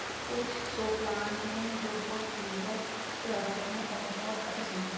कुछ सो प्लाट हैं जो बहुत सुंदर लग रहे हैं और बहुत अतिसुंदर --